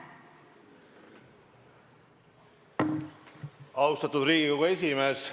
Austatud Riigikogu esimees!